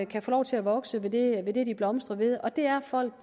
kan få lov til at vokse ved det ved det de blomstrer ved og det er at folk